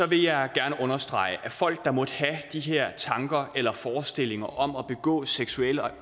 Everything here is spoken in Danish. vil jeg gerne understrege at folk der måtte have de her tanker eller forestillinger om at begå seksuelle